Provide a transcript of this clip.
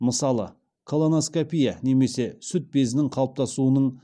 мысалы колоноскопия немесе сүт безінің қалыптасуының